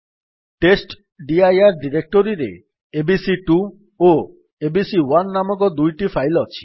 ଟେଷ୍ଟଡିର ଡିରେକ୍ଟୋରୀରେ ଏବିସି2 ଓ ଏବିସି1 ନାମକ ଦୁଇଟି ଫାଇଲ୍ ଅଛି